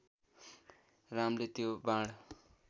रामले त्यो बाण